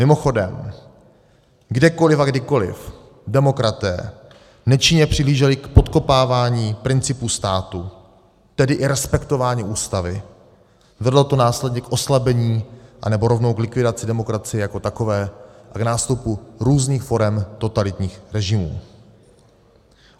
Mimochodem, kdekoliv a kdykoliv demokraté nečinně přihlíželi k podkopávání principů státu, tedy i respektování ústavy, vedlo to následně k oslabení anebo rovnou k likvidaci demokracie jako takové, a k nástupu různých forem totalitních režimů.